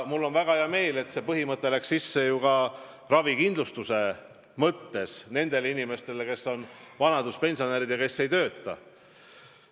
Mul on väga hea meel, et muudetud sai ravikindlustuse põhimõtet nende inimeste puhul, kes on vanaduspensionärid ja ei tööta.